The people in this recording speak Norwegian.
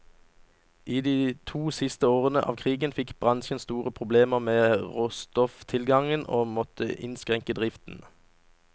I de to siste årene av krigen fikk bransjen store problemer med råstofftilgangen, og måtte innskrenke driften.